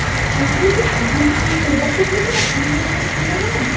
দার্জিলিং এর Weather -টা থাকে না ঠান্ডা গরম ঠান্ডা গরম